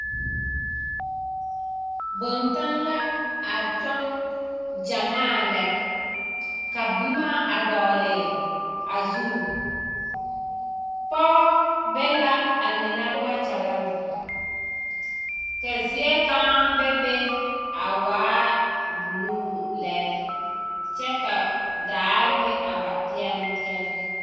Bontanne la a kyɔŋ gyɛmaa lɛ ka boma a dɔgele a zu, pɔgɔ be la a mine wakyalaŋ ka zie kaŋa bebe a waa buluu lɛ kyɛ ka daare meŋ a ba peɛleŋ peɛleŋ.